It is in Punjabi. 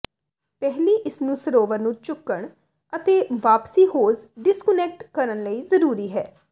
ਪਹਿਲੀ ਇਸ ਨੂੰ ਸਰੋਵਰ ਨੂੰ ਚੁੱਕਣ ਅਤੇ ਵਾਪਸੀ ਹੋਜ਼ ਡਿਸਕੁਨੈਕਟ ਕਰਨ ਲਈ ਜ਼ਰੂਰੀ ਹੈ